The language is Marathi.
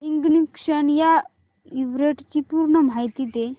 इग्निशन या इव्हेंटची पूर्ण माहिती दे